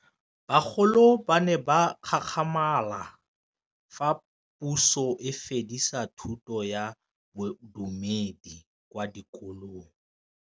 Bagolo ba ne ba gakgamala fa Pusô e fedisa thutô ya Bodumedi kwa dikolong.